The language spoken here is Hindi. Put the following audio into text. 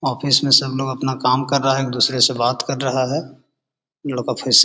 ऑफिस में सब लोग अपना काम कर रहा हैं। एक-दुसरे से बात कर रहा हैं। लड़का फेस --